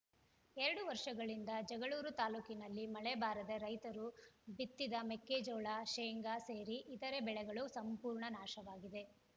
ಎರಡು ವರ್ಷಗಳಿಂದ ಜಗಳೂರು ತಾಲೂಕಿನಲ್ಲಿ ಮಳೆ ಬಾರದೆ ರೈತರು ಬಿತ್ತಿದ ಮೆಕ್ಕೆಜೋಳ ಶೆಂಗಾ ಸೇರಿ ಇತರೆ ಬೆಳೆಗಳು ಸಂಪೂರ್ಣ ನಾಶವಾಗಿವೆ